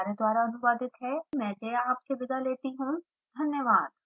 I I T Bombay से मैं श्रुति आर्य आपसे विदा लेती हूँ हमसे जुड़ने के लिए धन्यवाद